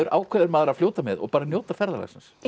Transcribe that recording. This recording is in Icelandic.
ákveður maður að fljóta með og njóta ferðalagsins